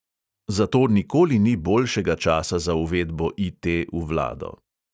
Zato nikoli ni boljšega časa za uvedbo IT v vlado.